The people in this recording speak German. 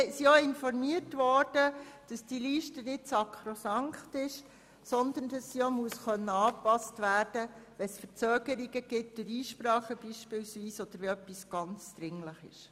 Wir sind auch darüber informiert worden, dass diese Liste nicht sakrosankt ist, sondern angepasst werden muss, wenn es beispielsweise infolge von Einsprachen zu Verzögerungen kommt oder wenn etwas sehr dringlich ist.